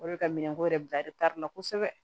O de ka minɛnko yɛrɛ bila la kosɛbɛ